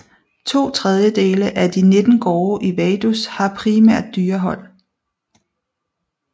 To tredjedele af de 19 gårde i Vaduz har primært dyrehold